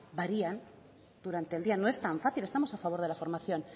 varían durante el día no es tan fácil estamos a favor de la formación